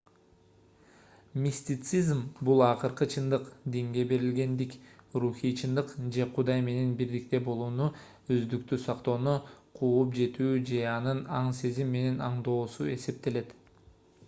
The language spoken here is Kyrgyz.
мистицизм бул акыркы чындык динге берилгендик рухий чындык же кудай менен бирдикте болууну өздүктү сактоону кууп жетүү же аны аң-сезим менен аңдоосу эсептелет